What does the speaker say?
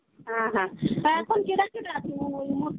হ্যাঁ হ্যাঁ, তা এখন কেডা কেডা আছে ওই উমরকট এ?